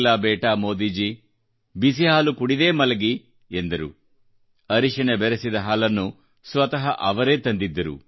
ನೀವು ಬಿಸಿ ಅರಿಶಿನ ಬೆರೆಸಿದ ಹಾಲು ಕುಡಿದು ನಂತರ ಮಲಗಿ ಎಂದು ಅರಿಶಿನ ಬೆರೆಸಿದ ಹಾಲನ್ನು ಸ್ವತಃ ಅವರೇ ತಂದಿದ್ದರು